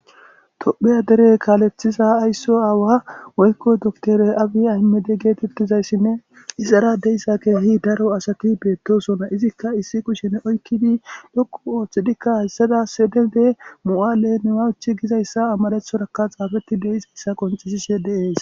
Topheya dere kaalethiza aysso aawa woykko doktore abi aymede geetettizayssinne ixara deyssa keehi daro asaki beettosona izikka issi kushe ne oykkidi dhokku ooththidikka hayssada sedede mu'aale newawuchi gizayssa amadethoraka xaafetti deizayssa qonxisishe deees.